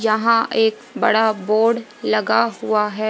यहां एक बड़ा बोर्ड लगा हुआ है।